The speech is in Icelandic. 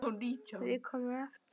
Við komum aftur.